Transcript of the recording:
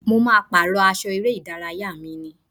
Mo ma pàrọ́ aṣọ eré ìdárayá mi ní.